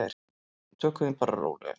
Tökum því bara rólega.